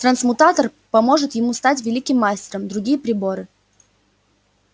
трансмутатор поможет ему стать великим мастером другие приборы